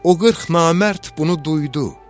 O 40 namərd bunu duydu.